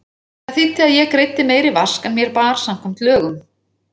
Það þýddi að ég greiddi meiri vask en mér bar samkvæmt lögum.